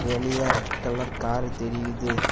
வெளிய red colour car தெரியுது.